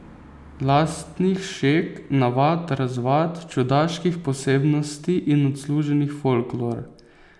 Lastnih šeg, navad, razvad, čudaških posebnosti in odsluženih folklor.